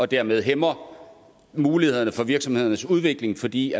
dermed hæmmer mulighederne for virksomhedernes udvikling fordi